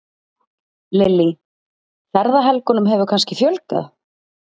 Lillý: Ferðahelgunum hefur kannski fjölgað?